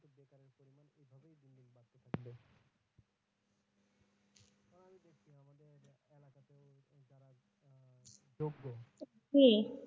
জি।